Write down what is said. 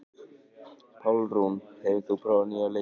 Pálrún, hefur þú prófað nýja leikinn?